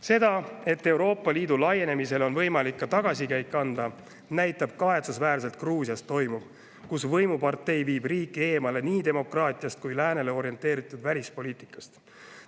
Seda, et Euroopa Liidu laienemisele on võimalik ka tagasikäik anda, näitab kahetsusväärselt Gruusias toimuv, kus võimupartei viib riiki eemale nii demokraatiast kui ka läänele orienteeritud välispoliitikast.